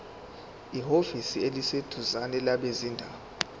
ehhovisi eliseduzane labezindaba